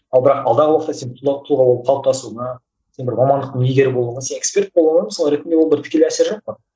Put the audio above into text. ал бірақ алдағы уақытта сен тұлға болып қалыптасуыңа сен бір мамандықтың иегері болуыңа сен эксперт болуыңа мысалы ретінде ол бір тікелей әсері жоқ қой